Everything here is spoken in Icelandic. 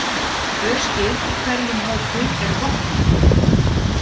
Tvö skip í hverjum hópi eru vopnuð.